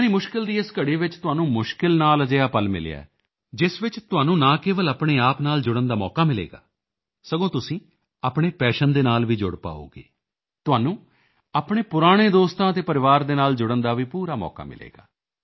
ਯਾਨੀ ਮੁਸ਼ਕਿਲ ਦੀ ਇਸ ਘੜੀ ਵਿੱਚ ਤੁਹਾਨੂੰ ਮੁਸ਼ਕਿਲ ਨਾਲ ਅਜਿਹਾ ਪਲ ਮਿਲਿਆ ਹੈ ਜਿਸ ਵਿੱਚ ਤੁਹਾਨੂੰ ਨਾ ਕੇਵਲ ਆਪਣੇ ਆਪ ਨਾਲ ਜੁੜਨ ਦਾ ਮੌਕਾ ਮਿਲੇਗਾ ਸਗੋਂ ਤੁਸੀਂ ਆਪਣੇ ਪੈਸ਼ਨ ਦੇ ਨਾਲ ਵੀ ਜੁੜ ਪਾਓਗੇ ਤੁਹਾਨੂੰ ਆਪਣੇ ਪੁਰਾਣੇ ਦੋਸਤਾਂ ਅਤੇ ਪਰਿਵਾਰ ਦੇ ਨਾਲ ਜੁੜਨ ਦਾ ਵੀ ਪੂਰਾ ਮੌਕਾ ਮਿਲੇਗਾ